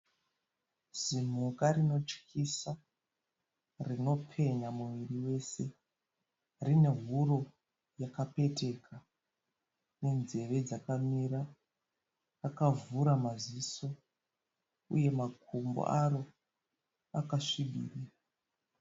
Zimhuka rinotyisa rinopenya muviri wese. Rine huro yakapeteka nenzeve dzakamira . Rakavhura maziso uye makumbo aro akasvibira.